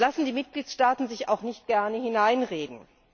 Da lassen die Mitgliedstaaten sich auch nicht gerne hineinreden.